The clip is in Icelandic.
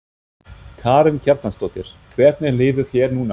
Karen Kjartansdóttir: Hvernig líður þér núna?